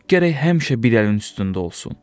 Gərək həmişə bir əlin üstündə olsun.